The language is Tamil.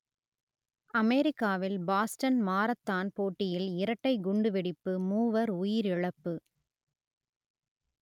அமெரிக்காவில் பாஸ்டன் மாரத்தான் போட்டியில் இரட்டைக் குண்டுவெடிப்பு மூவர் உயிரிழப்பு